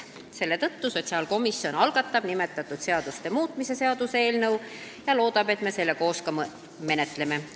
Selle tõttu algatab sotsiaalkomisjon nimetatud seaduste muutmise seaduse eelnõu ja loodab, et me seda koos ka menetleme.